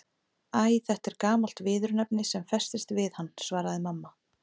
Æ, þetta er gamalt viðurnefni sem festist við hann svaraði mamma.